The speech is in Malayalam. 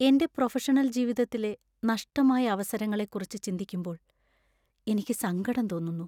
എന്‍റെ പ്രൊഫഷണൽ ജീവിതത്തിലെ നഷ്ടമായ അവസരങ്ങളെക്കുറിച്ച് ചിന്തിക്കുമ്പോൾ എനിക്ക് സങ്കടം തോന്നുന്നു.